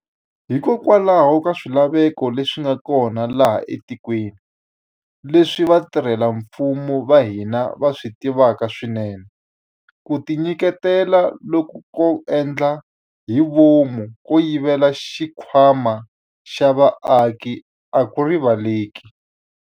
Hikokwalaho ka swilaveko leswi nga kona laha etikweni, leswi vatirhela mfumo va hina va swi tivaka swinene, ku tinyiketela loku ko endla hi vomu ko yivela xikhwama xa vaaki a ku riva leleki.